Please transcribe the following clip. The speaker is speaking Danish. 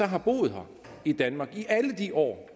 har boet her i danmark i alle de år